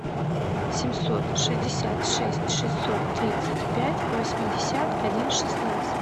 семьсот шестьдесят шесть шестьсот тридцать пять восемьдесят один шестнадцать